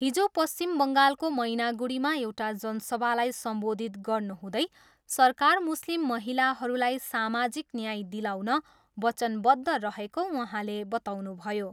हिजो पश्चिम बङ्गालको मैनागुडीमा एउटा जनसभालाई सम्बोधित गर्नुहुँदै सरकार मुस्लिम महिलाहरूलाई सामाजिक न्याय दिलाउन वचनबद्ध रहेको उहाँले बताउनुभयो।